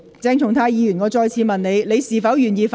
鄭松泰議員，我再次問你，你是否願意發言？